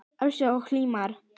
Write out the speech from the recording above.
Áslaug og Hilmar.